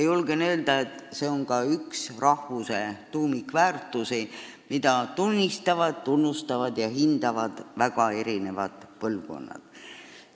Julgen öelda, et see on ka üks rahvuse tuumikväärtusi, mida tunnistavad, tunnustavad ja hindavad väga erinevad põlvkonnad.